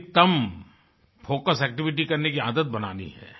अधिकतम focus activity करने की आदत बनानी है